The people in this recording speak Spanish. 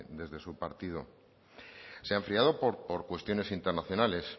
desde su partido se ha enfriado por cuestiones internacionales